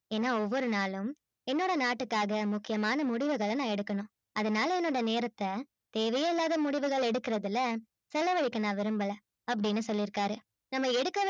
ஏன்னா ஒவ்வொரு நாளும் என்னோட நாட்டுக்காக முக்கியமான முடிவுகள் எடுக்கணும் அதுனால என்னோட நேரத்த தேவையே இல்லாத முடிவுகள் எடுக்குறதுல செலவழிக்க நான் விரும்பல அப்பிடின்னு சொல்லி இருக்காரு நாம எடுக்க வேண்டிய